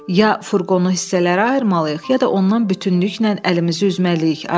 Ya furqonu hissələrə ayırmalıyıq, ya da ondan bütünlüklə əlimizi üzməliyik,